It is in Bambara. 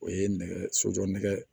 O ye nɛgɛ sojɔ nɛgɛ